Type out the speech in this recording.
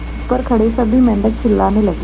ऊपर खड़े सभी मेढक चिल्लाने लगे